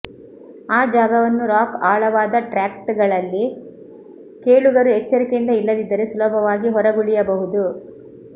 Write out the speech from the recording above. ಆ ಜಾಗವನ್ನು ರಾಕ್ ಆಳವಾದ ಟ್ರ್ಯಾಕ್ಗಳಲ್ಲಿ ಕೇಳುಗರು ಎಚ್ಚರಿಕೆಯಿಂದ ಇಲ್ಲದಿದ್ದರೆ ಸುಲಭವಾಗಿ ಹೊರಗುಳಿಯಬಹುದು